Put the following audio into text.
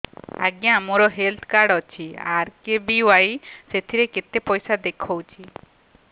ଆଜ୍ଞା ମୋର health card ଅଛି ଆର୍.କେ.ବି.ୱାଇ ସେଥିରେ କେତେ ପଇସା ଦେଖଉଛି